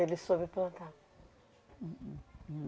Ele soube plantar?